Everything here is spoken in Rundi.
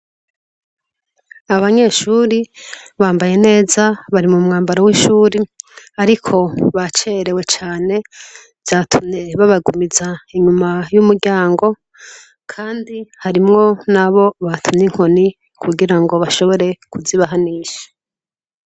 Abanyeshuri bambaye neza bari mu mwambaro w'ishuri, ariko ba cerewe cane vyatumye babagumiza inyuma y'umuryango, kandi harimwo nabo batumye inkoni kugira ngo bashobore kuzibahanisha.